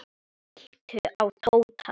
Líttu á Tóta.